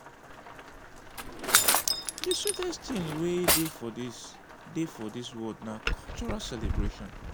the sweetest thing wey dey for this dey for this world na cultural celebration.